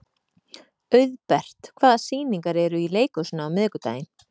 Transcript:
Auðbert, hvaða sýningar eru í leikhúsinu á miðvikudaginn?